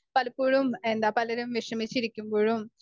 speaker 1 പലപ്പോഴും എന്താ പലരും വിഷമിച്ചിരിക്കുമ്പഴും